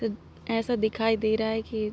ऐसा दिखाई दे रहा है की--